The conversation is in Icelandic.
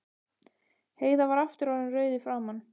Heiða var aftur orðin rauð í framan.